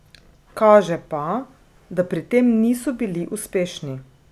Kaže pa, da pri tem niso bili uspešni.